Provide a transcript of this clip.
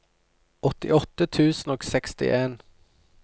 åttiåtte tusen og sekstien